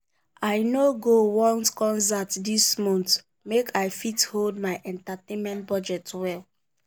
i no go one concert this month make i fit hold my entertainment budget well.